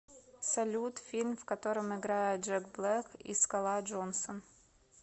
салют фильм в котором играет джек блэк и скала джонсон